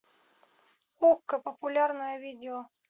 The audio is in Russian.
окко популярное видео